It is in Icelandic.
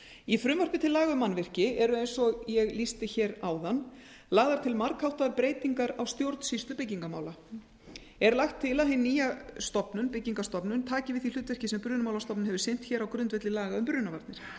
í frumvarpi til laga um mannvirki eru eins og ég lýsti hér áðan lagðar til margháttaðar breytingar á stjórnsýslu byggingarmála er lagt til að hin nýja stofnun byggingarstofnun taki við því hlutverki sem brunamálastofnun hefur sinnt hér á grundvelli laga um brunavarnir